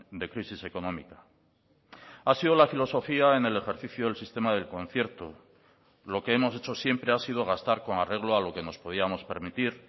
de crisis económica ha sido la filosofía en el ejercicio del sistema del concierto lo que hemos hecho siempre ha sido gastar con arreglo a lo que nos podíamos permitir